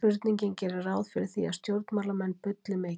Spurningin gerir ráð fyrir því að stjórnmálamenn bulli mikið.